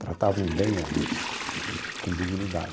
Tratavam bem a gente, com dignidade.